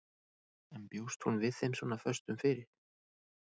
En bjóst hún við þeim svona föstum fyrir?